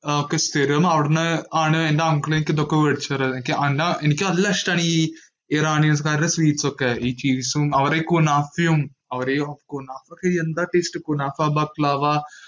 സ്ഥിരം അവിടുന്ന് ആണ് എന്റെ uncle എനിക്ക് ഇതൊക്കെ മേടിച്ചു തരാറു. എനിക്ക് നല്ല ഇഷ്ടം ആണ് ഈ ഇറാനികരുടെ sweets ഒക്കെ. ഈ ചീസും അവരുടെ ഈ കുനാഫയും, ക്‌നാഫ്ത ഒക്കെ എന്താ taste, ക്‌നാഫാ ബകലവ ഒക്കെ.